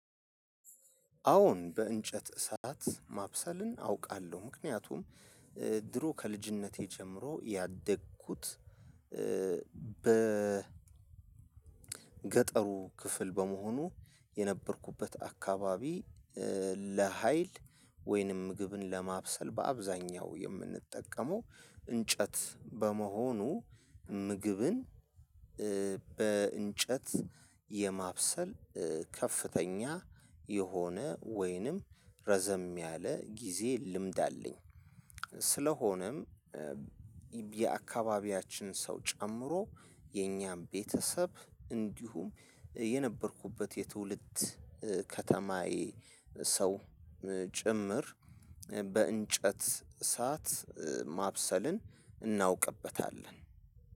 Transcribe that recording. አዎን በእንጨት እሳት ማብሰልን አውቃለሁ። ምክንያቱም ድሮ ከልጅነቴ ጀምሮ ያደግኩት በ ገጠሩ ክፍል በመሆኑ የነበርኩበት አካባቢ ለሀይል ወይንም ምግብን ለማብሰል በአብዛኛው የምንጠቀመው እንጨት በመሆኑ ምግብን በእንጨት የማብሰል ከፍተኛ የሆነ ወይንም ረዘም ያለ ጊዜ ልምድ አለኝ። ስለሆነም የአካባቢያችን ሰው ጨምሮ የኛም ቤተሰብ እንዲሁም የነበርኩበት የትውልድ ከተማዬ ሰው ጭምር በእንጨት እሳት ማብሰልን እናውቅበታለን።